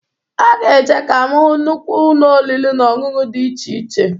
Aga eje ka m hụ nnụkwụ ụnọ oriri na-ọṅụṅụ dị iche iche.